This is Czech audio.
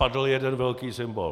Padl jeden velký symbol.